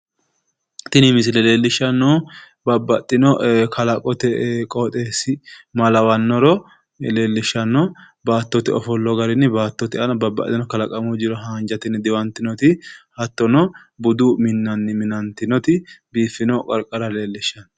Tini misile leellishshannohu babbaxxino kalaqote qooxeessi ma lawannoro leellishshanno. Baattote ofollo garinni baattote aana babbaxxino kalaqamu jiro haanjatenni diwantinoti hattono budu minnanni minantinoti biiffino qarqara leellishshanno.